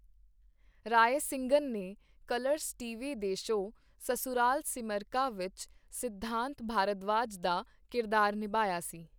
ਰਾਇਸਿੰਘਨ ਨੇ Colors TV ਦੇ show Sasural Simar Ka ਵਿੱਚ ਸਿਧਾਂਤ ਭਾਰਦਵਾਜ ਦਾ ਕਿਰਦਾਰ ਨਿਭਾਇਆ ਸੀ।